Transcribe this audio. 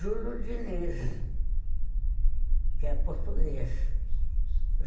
Júlio Diniz, que é português.